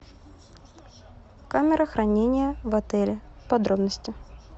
камера хранения в отеле подробности